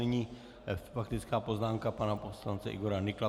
Nyní faktická poznámka pana poslance Igora Nykla.